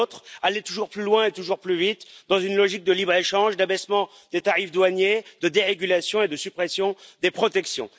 Et de l'autre, aller toujours plus loin et toujours plus vite dans une logique de libre échange, d'abaissement des tarifs douaniers, de dérégulation et de suppression des protections.